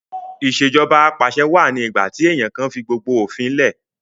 Ìṣèjọba Apàṣẹwà ni ìgbà tí èèyàn kan fi gbogbo òfin lẹ̀